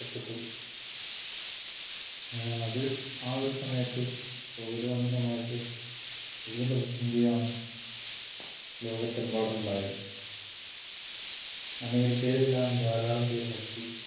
അത് ആ ഒരു സമയത്ത് covid വന്ന സമയത്ത് വലിയ പ്രതിസന്ധി ആണ് ലോകത്ത് എമ്പാടും ഉണ്ടായത്. അമേരിക്കയിൽ എല്ലാം ധാരാളം പേർ മരിച്ചു.